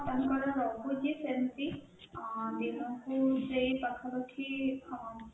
ହଁ ତାଙ୍କର ରହୁଛି ସେମିତି ଆଁ ଦିନକୁ ସେଇ ପାଖା ପାଖି ଆଁ